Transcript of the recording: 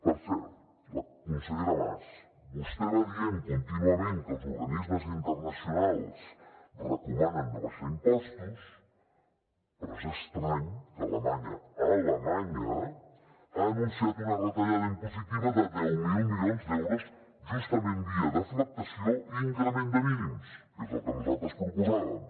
per cert consellera mas vostè va dient contínuament que els organismes internacionals recomanen no abaixar impostos però és estrany que alemanya alemanya ha anunciat una retallada impositiva de deu mil milions d’euros justament via deflactació i increment de mínims que és el que nosaltres proposàvem